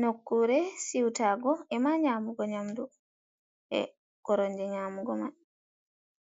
Nokkure siwtago e ma nyamugo nyamdu e koromje nyamugo man,